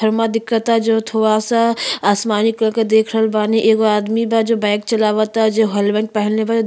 दिखता जो थोआ सा आसमानी कलर के देख रहल बानी। एगो आदमी बा जो बाइक चलवता जो हेलमेट पहिनले बा ज --